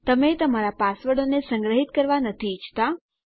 તમે તમારા પાસવર્ડોને સંગ્રહીત કરવા નથી ઈચ્છતા